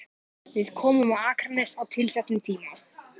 Við komum á Akranes á tilsettum tíma.